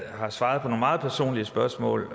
svaret på nogle meget personlige spørgsmål